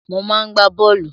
Mo máa ń gbá bọ́ọ̀lù.